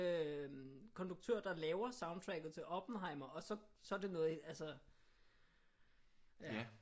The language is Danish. Konduktør der laver soundtracket til Oppenheimer og så er det noget altså